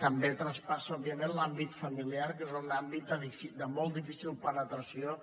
també traspassa òbviament l’àmbit familiar que és un àmbit de molt difícil penetració